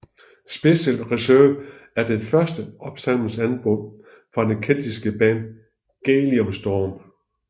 Special Reserve er det første opsamlingsalbum fra det keltiske band Gaelic Storm